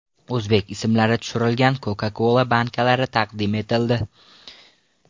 O‘zbek ismlari tushirilgan Coca-Cola bankalari taqdim etildi.